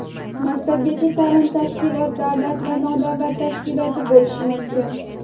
maktabgacha taʼlim tashkiloti davlat va nodavlat tashkiloti bo‘lishi mumkin.